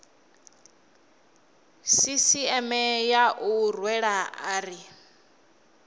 sisieme ya u rwela ari